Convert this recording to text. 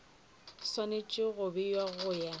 swanetše go bewa go ya